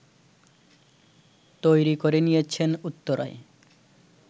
তৈরি করে নিয়েছেন উত্তরায়